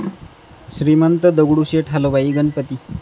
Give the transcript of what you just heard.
Shrimant Dagdusheth Halwai Ganpati